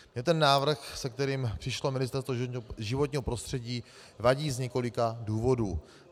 Mně ten návrh, se kterým přišlo Ministerstvo životního prostředí, vadí z několika důvodů.